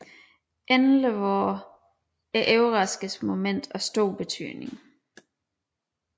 Endelig var overraskelsesmomentet af stor betydning